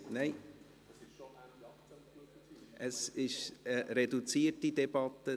Nein, es ist eine reduzierte Debatte.